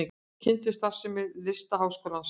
Kynntu starfsemi Listaháskólans